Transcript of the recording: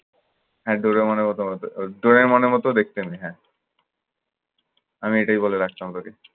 হ্যাঁ ডরিমনের মত মত ডরিমনের মতো দেখতে মেয়ে হ্যাঁ। আমি এটাই বলে ডাকতাম তোকে।